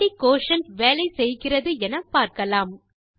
எப்படி குயோட்டியன்ட் வேலை செய்கிறது என பார்க்கலாம்